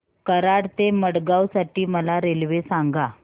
कराड ते मडगाव साठी मला रेल्वे सांगा